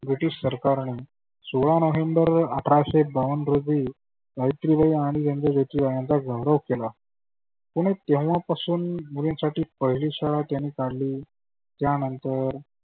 British सरकारानं सोळा November अठराशे बावन्न रोजी सावित्रीबाई आणि यांचे सचीव यांचा गौरव केला. कुणी तेव्हा पासून मुलींसाठी पहिली शाळा त्यांनी काढली त्यानंतर